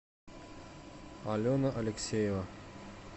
алена алексеева